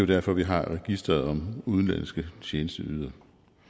derfor vi har registret udenlandske tjenesteydere